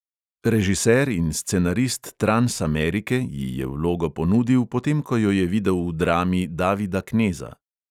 Režiser in scenarist transamerike ji je vlogo ponudil, potem ko jo je videl v drami davida kneza.